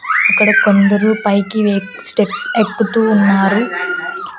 అక్కడ కొందరు పైకి వే స్టెప్స్ ఎక్కుతూ ఉన్నారు.